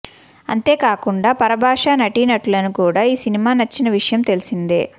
అంతే కాకుండా పరభాషా నటీనటులను కూడా ఈ సినిమా నచ్చిన విషయం తెలిసిందే